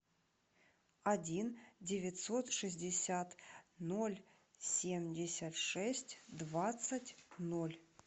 один девятьсот шестьдесят ноль семьдесят шесть двадцать ноль